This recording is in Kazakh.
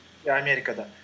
иә америкада